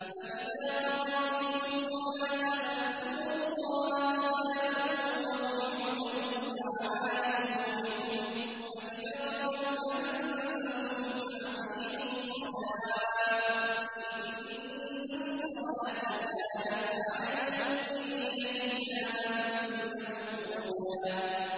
فَإِذَا قَضَيْتُمُ الصَّلَاةَ فَاذْكُرُوا اللَّهَ قِيَامًا وَقُعُودًا وَعَلَىٰ جُنُوبِكُمْ ۚ فَإِذَا اطْمَأْنَنتُمْ فَأَقِيمُوا الصَّلَاةَ ۚ إِنَّ الصَّلَاةَ كَانَتْ عَلَى الْمُؤْمِنِينَ كِتَابًا مَّوْقُوتًا